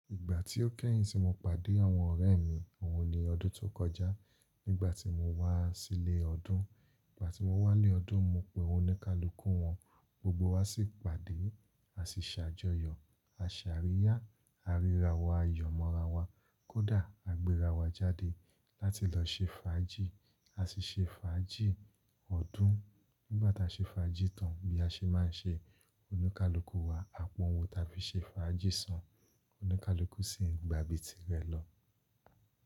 Ìgbà tí ó kẹ́yìn tí mo pàdé àwọn ọ̀rẹ́ mi, òun ni ọdún tó kọjá. Nígbà tí mo wá sílé ọdún, ìgbà tí mo wá lé ọdún, mo pe oníkálukú wọn, gbogbo wa sì pàdé. A sì ṣàjọyọ̀, a sì àríyá àríra wa, ayọ̀mọra wa. Kódà a gbéra wa jáde láti lọ ṣe fàájì. A sì ṣe fàájì ọdún. Nígbà tí a ṣe fàájì tán bí a ṣe máa ń ṣe oníkálukú wa, àpọ́n owun ta fí ṣe fàájì san. Oníkálukú sì ń gba tìrẹ lọ.